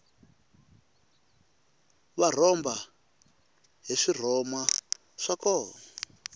va rhomba hi swirhoma swo koma